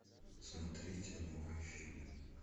смотреть новые фильмы